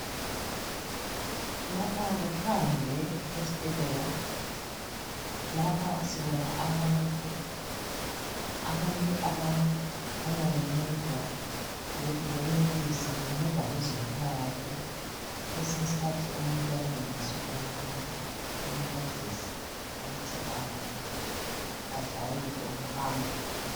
Lapha kuphandle esibhedlela, lapha sibona abantu, abantu abakhanya bencedwa ukuthi benelise bencedwa ngabezempilakahle kwesinye isikhathi umuntu uyabe engenelisi ukuhamba bemncedisa ukuthi ajayele ukuhamba